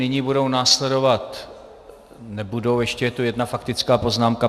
Nyní budou následovat, nebudou, ještě je tady jedna faktická poznámka.